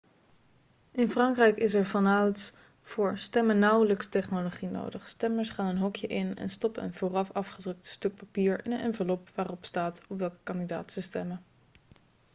in frankrijk is er vanouds voor stemmen nauwelijks technologie nodig stemmers gaan een hokje in en stoppen een vooraf afgedrukt stuk papier in een envelop waarop staat op welke kandidaat ze stemmen